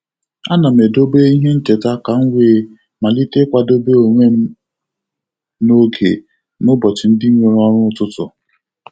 A na m edobe ihe ncheta ka m wee malite ịkwadobe onwe m n'oge n'ụbọchị ndị nwere ọrụ ụtụtụ.